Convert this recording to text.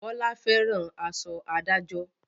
Bọlá fẹ́ràn aṣọ adájọ́